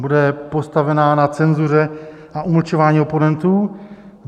Bude postavena na cenzuře a umlčování oponentů?